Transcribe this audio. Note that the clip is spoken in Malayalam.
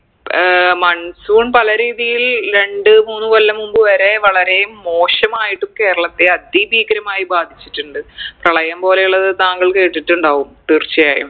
ഏർ monsoon പല രീതിയിൽ രണ്ട് മൂന്ന് കൊല്ലം മുമ്പ് വരെ വളരെ മോശമായിട്ടും കേരളത്തെ അതി ഭീകരമായി ബാധിച്ചിട്ടിണ്ട് പ്രളയം പോലെ ഉള്ളത് താങ്കൾ കേട്ടിട്ടുണ്ടാവും തീർച്ചയായും